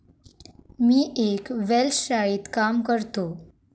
मी एक वेल्श शाळेत काम करतो.